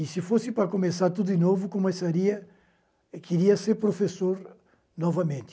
E se fosse para começar tudo de novo, começaria... queria ser professor novamente.